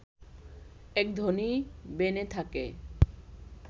এক ধনী বেনে থাকে